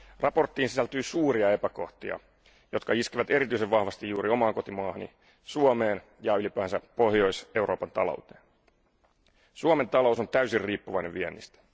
Mietintöön sisältyy suuria epäkohtia, jotka iskevät erityisen vahvasti juuri omaan kotimaahani Suomeen ja ylipäänsä Pohjois Euroopan talouteen. Suomen talous on täysin riippuvainen viennistä.